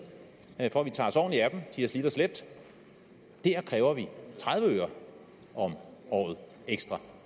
for at vi tager os ordentligt af dem de har slidt og slæbt kræver vi tredive øre om året ekstra